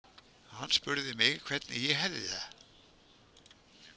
Hann spurði mig hvernig ég hefði það.